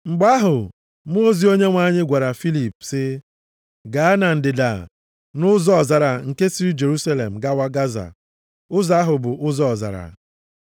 Mgbe ahụ mmụọ ozi Onyenwe anyị gwara Filip sị, “Gaa na ndịda, nʼụzọ ọzara nke siri Jerusalem gawa Gaza, ụzọ ahụ bụ ụzọ ọzara.”